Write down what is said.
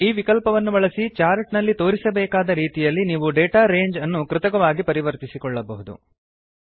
ಈ ವಿಕಲ್ಪವನ್ನು ಬಳಸಿ ಚಾರ್ಟ್ ನಲ್ಲಿ ತೋರಿಸಬೇಕಾದ ರೀತಿಯಲ್ಲಿ ನೀವು ಡಾಟಾ ರಂಗೆ ಅನ್ನು ಕೃತಕವಾಗಿ ಪರಿವರ್ತಿಸಿಕೊಳ್ಳಬಹುದು